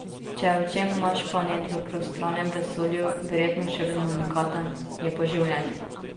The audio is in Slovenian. Če je v čem naš planet v prostranem vesolju verjetno še vedno unikaten, je po življenju.